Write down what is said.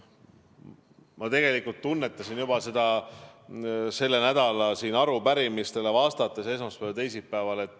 Ma tunnetasin seda juba sel nädalal siin arupärimistele vastates esmaspäeval ja teisipäeval.